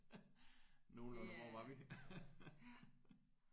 Nogenlunde hvor var vi?